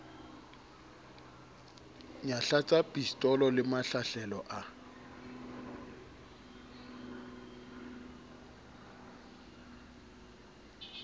nyahlatsa pistolo le mahlahlelo a